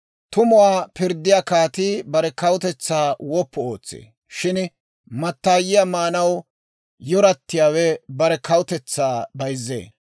Tumuwaa pirddiyaa kaatii bare kawutetsaa woppu ootsee; shin mattaayiyaa maanaw yoratiyaawe bare kawutetsaa bayzzee.